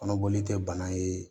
Kɔnɔboli tɛ bana ye